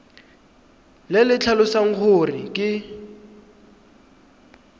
le le tlhalosang gore ke